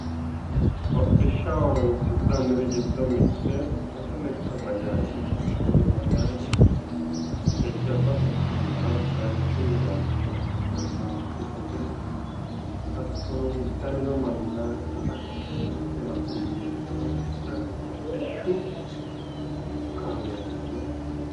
Hodhishshaho horonsi'nanniri giddo sase lekka bajaaje mitete iseno jajjabba quchumara horonsi'nannite rahotenni basete base iillishanote